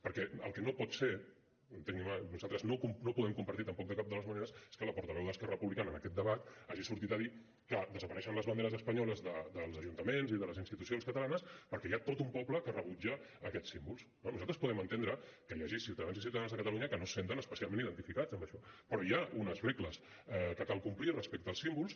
perquè el que no pot ser entenguin me nosaltres no ho podem compartir tampoc de cap de les maneres és que la portaveu d’esquerra republicana en aquest debat hagi sortit a dir que desapareixen les banderes espanyoles dels ajuntaments i de les institucions catalanes perquè hi ha tot un poble que rebutja aquests símbols no nosaltres podem entendre que hi hagi ciutadans i ciutadanes a catalunya que no es senten especialment identificats amb això però hi ha unes regles que cal complir respecte als símbols